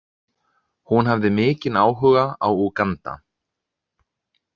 Hún hafði mikinn áhuga á Úganda.